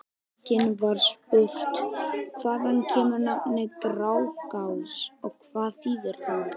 Einnig var spurt: Hvaðan kemur nafnið Grágás og hvað þýðir það?